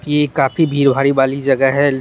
यह काफी बीर बारी वाली जगह है।